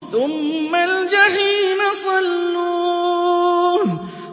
ثُمَّ الْجَحِيمَ صَلُّوهُ